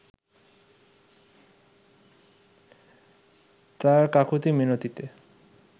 তার কাকুতি মিনতিতে